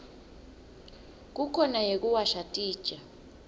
kukhona yekuwasha titja